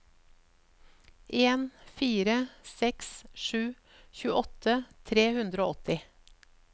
en fire seks sju tjueåtte tre hundre og åtti